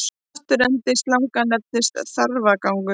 Afturendi slanga nefnist þarfagangur.